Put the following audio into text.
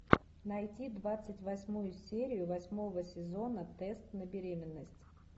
найти двадцать восьмую серию восьмого сезона тест на беременность